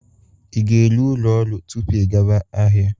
Ị ga-eru ụlo orụ tupu ị gawa ahịa?